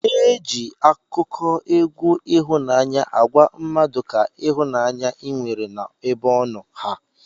Eji akụkọ egwu ihụnanya agwa mmadu ka ihụnanya inwere na ebe ọno ha.